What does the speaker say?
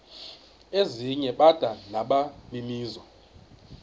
ezinye bada nabaninizo